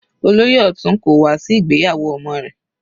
Olóyè Otun kò wá sí ìgbéyàwó ọmọ rẹ̀.